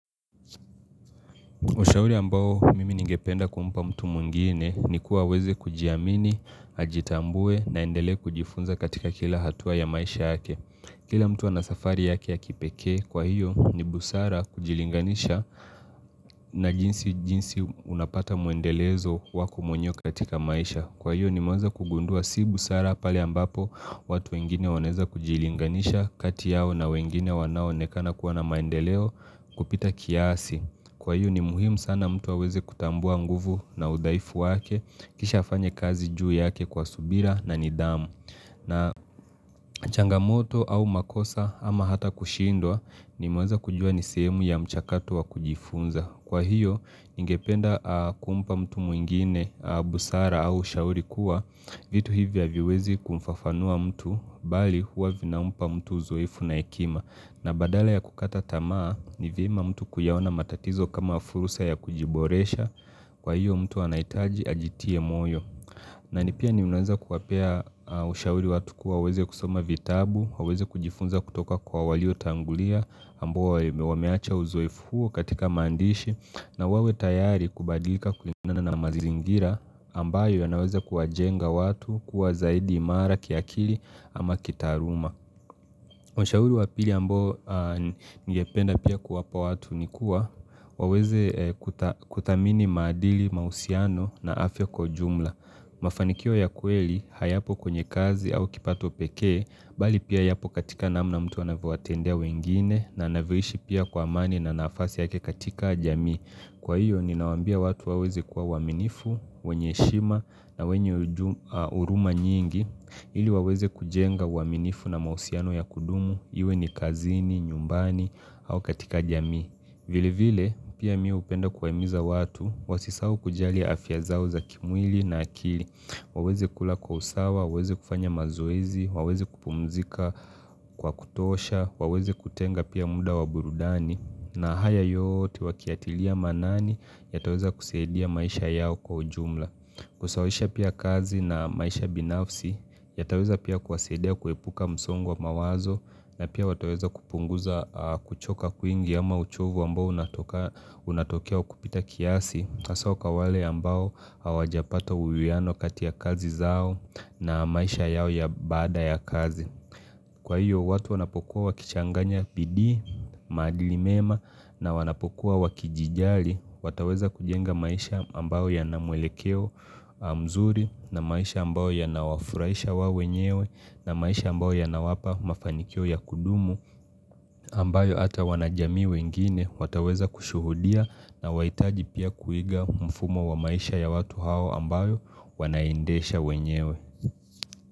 Ushauri ambao mimi ningependa kumpa mtu mwingine ni kuwa aweze kujiamini, ajitambue na aendelee kujifunza katika kila hatua ya maisha yake. Kila mtu ana safari yake ya kipekee, kwa hiyo ni busara kujilinganisha na jinsi, jinsi unapata mwendelezo wako mwenyewe katika maisha. Kwa hiyo nimeweza kugundua si busara pale ambapo watu wengine wanaweza kujilinganisha kati yao na wengine wanaoonekana kuwa na maendeleo kupita kiasi. Kwa hiyo ni muhimu sana mtu aweze kutambua nguvu na udhaifu wake kisha afanye kazi juu yake kwa subira na nidhamu. Na changamoto au makosa ama hata kushindwa nimeweza kujua ni semu ya mchakato wa kujifunza. Kwa hiyo ningependa kumpa mtu mwingine busara au shauri kuwa vitu hivyo haviwezi kumfafanua mtu bali huwa vinampa mtu uzoefu na hekima. Na badala ya kukata tamaa ni vyema mtu kuyaona matatizo kama fursa ya kujiboresha kwa hiyo mtu anahitaji ajitie moyo. Na ni pia nimeweza kuwapea ushauri watu kuwa waeze kusoma vitabu, waweze kujifunza kutoka kwa waliotangulia ambao wameacha uzoefu huo katika maandishi na wawe tayari kubadilika kulingana na mazingira ambayo ya naweza kuwajenga watu kuwa zaidi imara kiakili ama kitaaluma Ushauri wa pili ambao ningependa pia kuwapa watu ni kuwa, waweze kuthamini maadili, mahusiano na afya kwa ujumla. Mafanikio ya kweli hayapo kwenye kazi au kipato pekee, bali pia yapo katika namna mtu anavyowatendea wengine na anavyoishi pia kwa amani na nafasi yake katika jamii. Kwa hiyo, ninawaambia watu waweze kuwa waaminifu, wenye heshima na wenye huruma nyingi, ili waweze kujenga uaminifu na mahusiano ya kudumu, iwe ni kazini, nyumbani au katika jamii. Vile vile, pia mimi hupenda kuwaimiza watu, wasisahau kujali afya zao za kimwili na akili. Waweze kula kwa usawa, waweze kufanya mazoezi, waweze kupumzika kwa kutosha, waweze kutenga pia muda wa burudani, na haya yote wakiyatilia maanani, yataweza kusaidia maisha yao kwa ujumla. Kusawisha pia kazi na maisha binafsi, yataweza pia kuwasaidia kuepuka msongo wa mawazo na pia wataweza kupunguza kuchoka kwingi ama uchovu ambao unatokea kupita kiasi hasa kwa wale ambao hawajapata uwiano kati ya kazi zao na maisha yao ya baada ya kazi Kwa hiyo watu wanapokuwa wakichanganya bidii, maadili mema, na wanapokuwa wakijijali wataweza kujenga maisha ambayo yana mwelekeo mzuri na maisha ambayo yanawafurahisha wao wenyewe na maisha ambayo yanawapa mafanikio ya kudumu ambayo hata wanajamii wengine wataweza kushuhudia na wahitaji pia kuiga mfumo wa maisha ya watu hao ambayo wanaendesha wenyewe.